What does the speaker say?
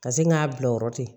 Ka segin k'a bila yɔrɔ ten